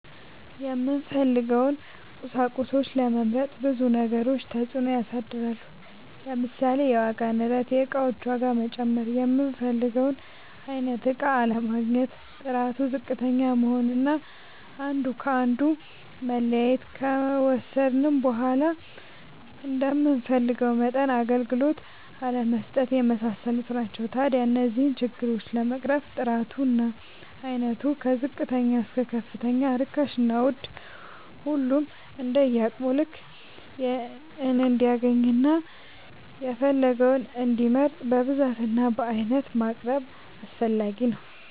የምንፈልገውን ቁሳቁሶች ለመምረጥ ብዙ ነገሮች ተፅእኖ ያሳድራሉ። ለምሳሌ፦ የዋጋ ንረት(የእቃዎች ዋጋ መጨመር)፣ የምንፈልገውን አይነት እቃ አለማግኘት፣ ጥራቱ ዝቅተኛ መሆን አና አንዱ ከአንዱ መለያየት፣ ከወሰድነውም በዃላ እንደምንፈልገው መጠን አገልግሎት አለመስጠት የመሳሰሉት ናቸው። ታዲያ እነዚህን ችግሮች ለመቅረፍ ጥራቱ እና አይነቱ ከዝቅተኛ እስከ ከፍተኛ ርካሽና ውድ ሁሉም እንደየአቅሙ ልክ እንዲያገኝና የፈለገውን እንዲመርጥ በብዛት እና በአይነት ማቅረብ አስፈላጊ ነው።